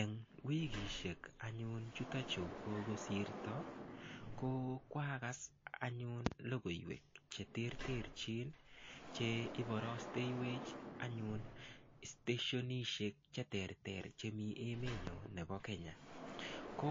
Eng' wikishek anyun chitochu kokosirto ko kwakas anyun lokoiwek cheterterchin che iborosteiwech anyun steshenishek cheterter chemi emenyo nebo Kenya ko